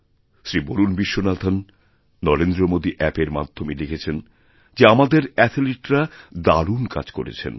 শ্রী বরুণ বিশ্বনাথন নরেন্দ্রমাদী অ্যাপএর মাধ্যমে লিখেছেন যেআমাদের অ্যাথলিটরা দারুণ কাজ করেছেন